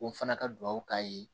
O fana ka duw k'a ye